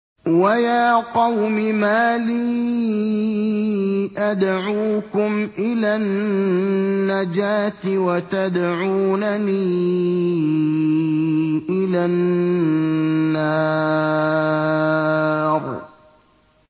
۞ وَيَا قَوْمِ مَا لِي أَدْعُوكُمْ إِلَى النَّجَاةِ وَتَدْعُونَنِي إِلَى النَّارِ